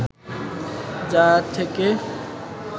যার থেকে